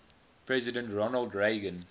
president ronald reagan